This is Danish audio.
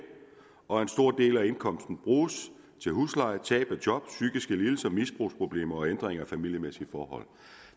og en stor del af indkomsten bruges til husleje tab af job psykiske lidelser misbrugsproblemer og en ændring af familiemæssige forhold